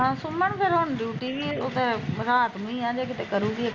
ਹੁ ਸੁਮਨ ਫਿਰ ਹੁਣ ਡੂਟੀ ਵੀ ਤੇ ਰਾਤ ਨੂੰ ਆ ਜੇ ਕਿਤੇ ਕਰੁਗੀ ਤੇ